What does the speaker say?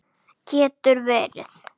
Getur verið?